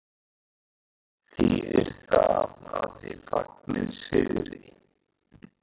Þýðir það að þið fagnið sigri?